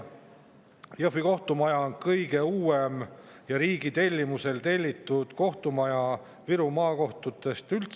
Jõhvi kohtumaja on Viru maakohtutest kõige uuem kohtumaja, mis on riigi tellitud.